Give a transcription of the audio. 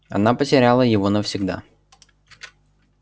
она потеряла его навсегда